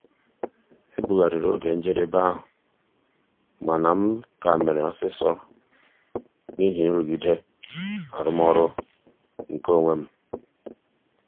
ebugharịrị oge njedebe ahụ mana m ka mere ọsịsọ n'ihi nrụgide arụmọrụ nke onwe m.